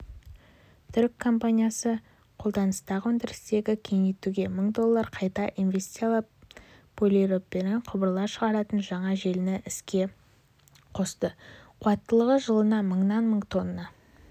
түрік компаниясы қолданыстағы өндірісті кеңейтуге мың доллар қайта инвестициялап полипропилен құбырлар шығаратын жаңа желіні іске қосты қуаттылығы жылына мыңнан мың тонна